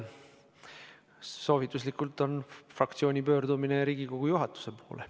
Soovituslik formaat on fraktsiooni pöördumine Riigikogu juhatuse poole.